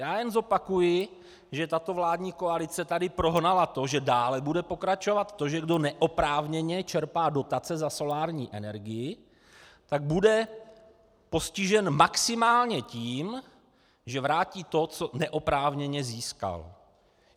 Já jen zopakuji, že tato vládní koalice tady prohnala to, že dále bude pokračovat to, že kdo neoprávněně čerpá dotace za solární energii, tak bude postižen maximálně tím, že vrátí to, co neoprávněně získal.